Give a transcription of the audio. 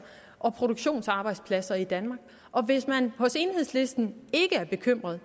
og produktionsarbejdspladser i danmark hvis man hos enhedslisten ikke er bekymret